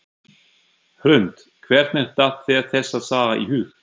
Hrund: Hvernig datt þér þessi saga í hug?